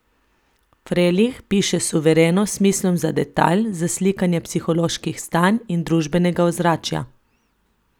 Frelih piše suvereno, s smislom za detajl, za slikanje psiholoških stanj in družbenega ozračja.